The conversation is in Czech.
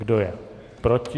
Kdo je proti?